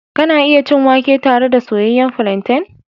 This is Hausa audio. Kana iya cin wake tare da soyayyen plantain.